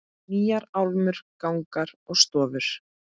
Nýjar álmur, gangar og stofur.